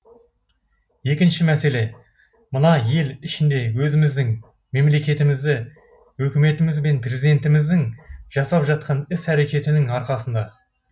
екінші мәселе мына ел ішінде өзіміздің мемлекетімізді өкіметіміз бен президентіміздің жасап жатқан іс әрекетінің арқасында